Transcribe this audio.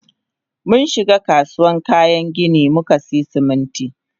Munshiga kasuwan kayan ginin mukasiya Siminti.